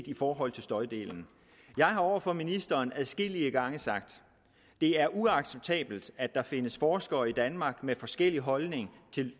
i forhold til støjdelen jeg har over for ministeren adskillige gange sagt det er uacceptabelt at der findes forskere i danmark med forskellig holdning